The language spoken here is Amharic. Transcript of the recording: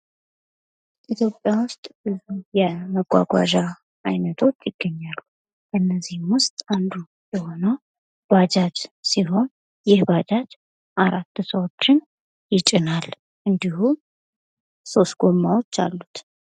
መጓጓዣ ሰዎችና እቃዎች ከአንድ ቦታ ወደ ሌላ ቦታ የሚንቀሳቀሱበት ዘዴ ነው። ተሽከርካሪዎች ደግሞ ይህንን እንቅስቃሴ የሚያከናውኑ መሳሪያዎች ናቸው።